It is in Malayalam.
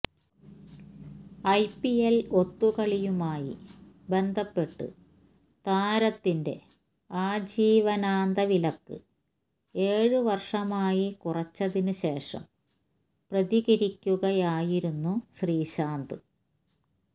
ഐപിഎല് ഒത്തുകളിയുമായി ബന്ധപ്പെട്ട് താരത്തിന്റെ ആജീവനാന്ത വിലക്ക് ഏഴ് വര്ഷമായി കുറച്ചതിന് ശേഷം പ്രതികരിക്കുകയായിരുന്നു ശ്രീശാന്ത്